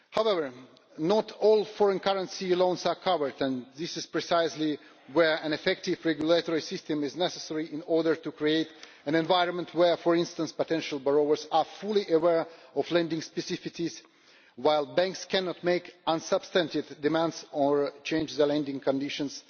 However, not all foreign currency loans are covered, and this is precisely where an effective regulatory system is necessary in order to create an environment where, for instance, potential borrowers are fully aware of lending specificities, while banks cannot make unsubstantiated demands or change the lending conditions